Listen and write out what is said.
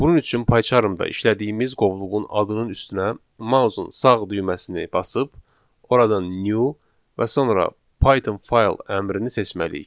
Bunun üçün Pycharmda işlədiyimiz qovluğun adının üstünə mausun sağ düyməsini basıb oradan new və sonra Python fayl əmrini seçməliyik.